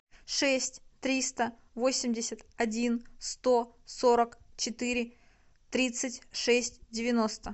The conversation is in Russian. шесть триста восемьдесят один сто сорок четыре тридцать шесть девяносто